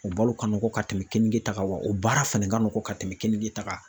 O balo kan nɔgɔn ka tɛmɛ keninge ta kan wa o baara fana ka nɔgɔn ka tɛmɛ keninge ta kan.